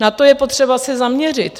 Na to je potřeba se zaměřit.